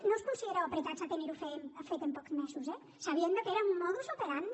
no us considereu apretats a tenir ho fet en pocs mesos eh sabiendo que era un modus operandi